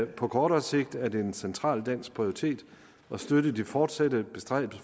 på kortere sigt er det en central dansk prioritet at støtte de fortsatte bestræbelser